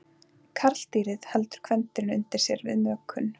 Karldýrið heldur kvendýrinu undir sér við mökun.